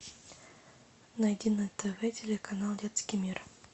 найди на тв телеканал детский мир